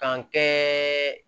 K'an kɛ